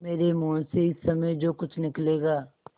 मेरे मुँह से इस समय जो कुछ निकलेगा